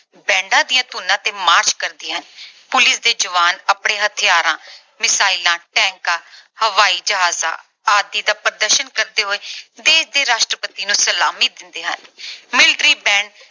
bands ਦੀਆਂ ਧੁਨੀਆਂ ਤੇ march ਕਰਦੀਆਂ ਹਨ। police ਦੇ ਜਵਾਨ ਆਪਣੇ ਹਥਿਆਰਾਂ, missile tanks ਹਵਾਈ ਜਹਾਜਾਂ ਆਦਿ ਦਾ ਪ੍ਰਦਰਸ਼ਨ ਕਰਦੇ ਹੋਏ ਦੇਸ਼ ਦੇ ਰਾਸ਼ਟਰਪਤੀ ਨੂੰ ਸਲਾਮੀ ਦਿੰਦੇ ਹਨ। military band